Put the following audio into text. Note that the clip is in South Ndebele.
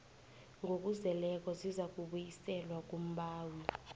ngokuzeleko zizakubuyiselwa kumbawi